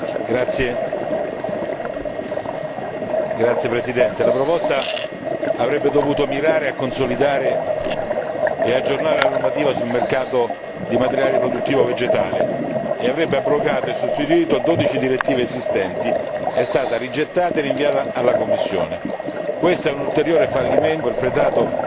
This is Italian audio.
Signora Presidente, onorevoli colleghi, la proposta avrebbe dovuto mirare a consolidare e aggiornare la normativa sul mercato di materiale riproduttivo vegetale e avrebbe abrogato e sostituito 12 direttive esistenti è stata rigettata e rinviata alla Commissione, questo è un ulteriore fallimento perpetrato